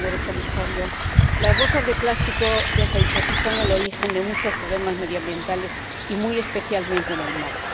señor Comisario, las bolsas de plástico ―ya se ha dicho aquí― son el origen de muchos problemas medioambientales, muy especialmente en el mar.